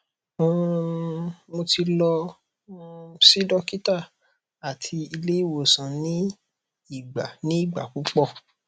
um mo ti lọ um si dokita ati ile iwosan ni igba ni igba pupọ